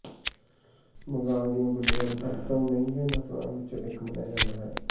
ਬੰਗਾਲ ਦੀਆਂ ਬਿੱਲੀਆਂ ਨੂੰ ਸਭ ਤੋਂ ਮਹਿੰਗੇ ਨਸਲਾਂ ਵਿਚੋਂ ਇਕ ਮੰਨਿਆ ਜਾਂਦਾ ਹੈ